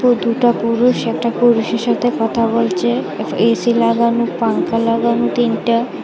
দুটা পুরুষ একটা পুরুষের সাথে কথা বলছে এ_সি লাগানো পাংখা লাগানো তিনটা।